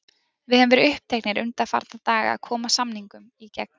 Við höfum verið uppteknir undanfarna daga að koma samningum í gegn.